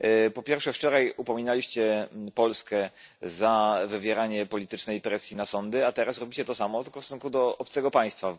Po pierwsze, wczoraj upominaliście Polskę za wywieranie politycznej presji na sądy, a teraz robicie to samo, tylko w stosunku do obcego państwa.